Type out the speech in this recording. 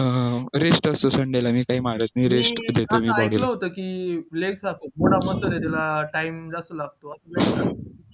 rest असतो sunday ला मी काही मारत नाही